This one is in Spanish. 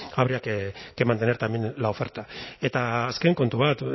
habría que mantener también la oferta eta azken kontu bat